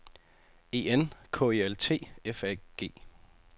E N K E L T F A G